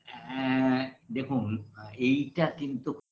কোনো অভিযোগ করে না